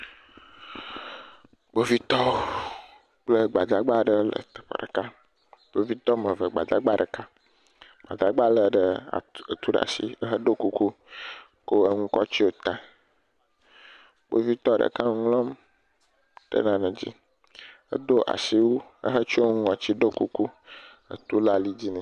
Kpovitɔwo kple gbadagba aɖe le teƒe ɖeka. Kpovitɔ wɔme eve gbadagba ɖeka. Gbadagba le ɖe etu ɖe asi ehedo kuku kɔ enu kɔ tso ta. Kpovitɔ ɖeka nu ŋlɔm ɖe nane dzi edo asiwu ehe tso nu ŋɔtsi do kuku etu le ali dzi nɛ.